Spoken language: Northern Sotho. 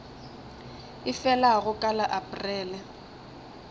e felago ka la aprele